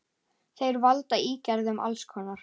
Þeir valda ígerðum alls konar.